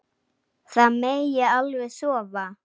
Það megi alveg sofa.